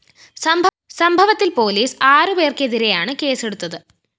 സംഭവത്തില്‍ പൊലീസ് ആറ് പേര്‍ക്കെതിരെയാണ് കേസെടുത്തത്